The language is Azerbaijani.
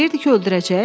Deyirdin ki, öldürəcək?